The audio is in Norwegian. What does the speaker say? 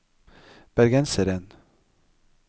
bergenseren